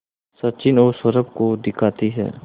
सचिन और सौरभ को दिखाती है